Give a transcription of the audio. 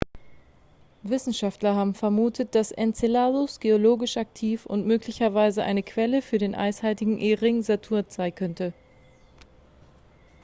wissenschaftler haben vermutet dass enceladus geologisch aktiv und möglicherweise eine quelle für den eishaltigen e-ring saturns sein könnte